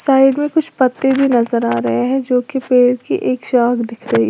side में कुछ पत्ते भी नजर आ रहे हैं जो कि पेड़ की एक शाख दिख रही--